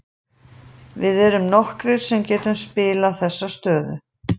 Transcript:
Við erum nokkrir sem getum spilað þessa stöðu.